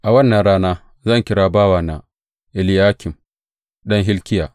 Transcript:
A wannan rana zan kira bawana, Eliyakim ɗan Hilkiya.